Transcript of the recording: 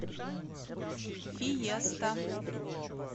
фиеста